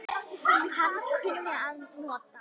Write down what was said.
Hann kunni að njóta.